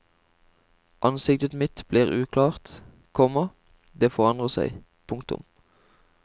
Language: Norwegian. Ansiktet mitt blir uklart, komma det forandrer seg. punktum